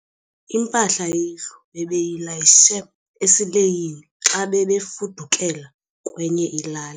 Impahla yendlu bebeyilayishe esileyini xa bebefudukela kwenye ilali.